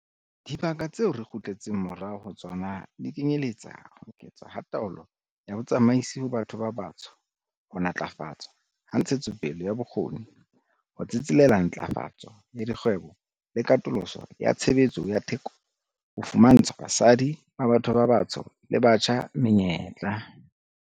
Dibaka tseo re kgutletseng morao ho tsona di kenyeletsa ho eketswa ha taolo ya botsamaisi ho batho ba batsho, ho ntlafatswa ha ntshetsopele ya bokgoni, ho tsetselela ntlafatso ya dikgwebo le katoloso ya tshebetso ya theko ho fumantsha basadi ba batho ba batsho le batjha menyetla.